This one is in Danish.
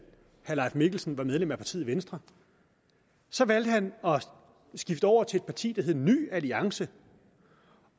herre leif mikkelsen var medlem af partiet venstre så valgte han at skifte over til et parti der hed ny alliance